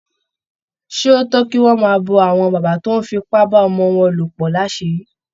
Ṣé ó tọ́ kí wọ́n máa bo àwọn bàbá tó ń fipá bá ọmọ wọn lò pọ̀ láṣìírí?